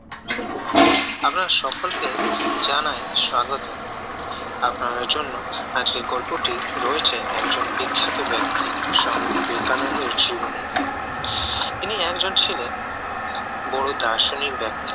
আপনাদের সকলকে জানাই স্বাগতম আপনাদের জন্য আজকের গল্পটি রয়েছে একজন বিখ্যাত ব্যক্তি স্বামী বিবেকানন্দের জীবনী তিনি একজন ছিলেন বড় দার্শনিক ব্যক্তি